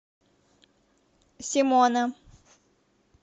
симона